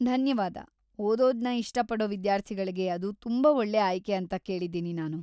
ಧನ್ಯವಾದ, ಓದೋದ್ನ ಇಷ್ಟ ಪಡೋ ವಿದ್ಯಾರ್ಥಿಗಳ್ಗೆ ಅದು ತುಂಬಾ ಒಳ್ಳೆ ಆಯ್ಕೆ ಅಂತ ಕೇಳಿದ್ದೀನಿ ನಾನು.